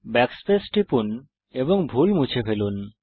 backspace টিপুন এবং ভুল মুছে দিন